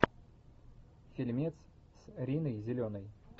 фильмец с риной зеленой